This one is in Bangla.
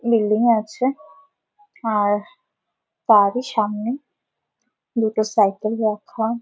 বিল্ডিং আছে আর তারই সামনে দুটো সাইকেল রাখা ।